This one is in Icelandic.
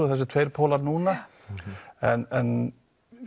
þessir tveir pólar núna en